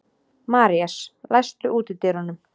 Marías, læstu útidyrunum.